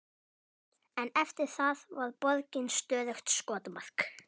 En eftir það var borgin stöðugt skotmark.